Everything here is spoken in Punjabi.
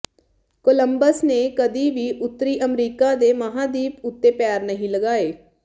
ਕੋਲੰਬਸ ਨੇ ਕਦੇ ਵੀ ਉੱਤਰੀ ਅਮਰੀਕਾ ਦੇ ਮਹਾਦੀਪ ਉੱਤੇ ਪੈਰ ਨਹੀਂ ਲਗਾਏ